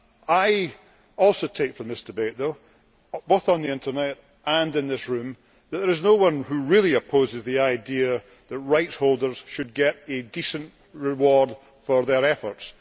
I also take from this debate though, both on the Internet and in this room, that there is no one who really opposes the idea that rights holders should get a decent reward for their efforts.